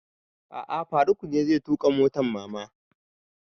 A'a faruk ne zai tuƙa motan mama na